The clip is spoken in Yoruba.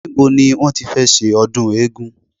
Nibo ni wọ́n tí fẹ́ ṣe ọdún eégún